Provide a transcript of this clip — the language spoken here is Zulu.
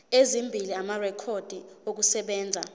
ezimbili amarekhodi okusebenza